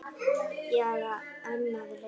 Ég er enn að reyna.